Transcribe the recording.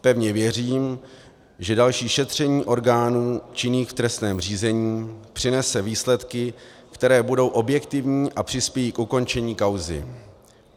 Pevně věřím, že další šetření orgánů činných v trestním řízení přinese výsledky, které budou objektivní a přispějí k ukončení kauzy.